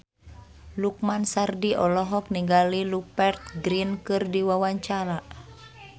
Lukman Sardi olohok ningali Rupert Grin keur diwawancara